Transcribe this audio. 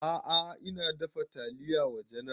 A'a ina dafa taliya wa general